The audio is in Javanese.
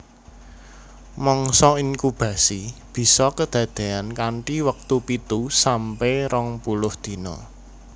Mangsa inkubasi bisa kedadeyan kanthi wektu pitu sampe rong puluh dina